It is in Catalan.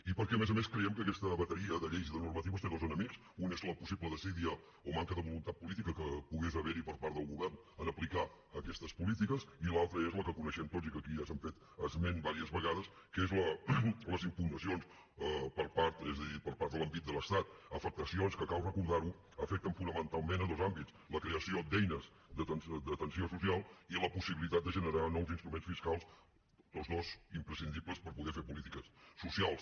i perquè a més a més creiem que aquesta bateria de lleis i de normatives té dos enemics un és la possible desídia o manca de voluntat política que pogués haver hi per part del govern en aplicar aquestes polítiques i l’altre és el que coneixem tots i que aquí ja se n’ha fet esment diverses vegades que són les impugnacions per part de l’envit de l’estat afectacions que cal recordar ho afecten fonamentalment dos àmbits la creació d’eines d’atenció social i la possibilitat de generar nous instruments fiscals tots dos imprescindibles per poder fer polítiques socials